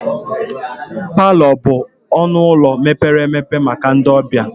Palọ bụ ọnụ ụlọ mepere emepe maka ndị ọbịa.